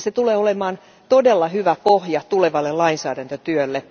Se tulee olemaan todella hyvä pohja tulevalle lainsäädäntötyölle.